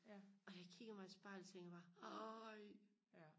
og da jeg kiggede mig i spejlet tænkte jeg bare ej